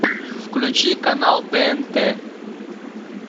включи канал тнт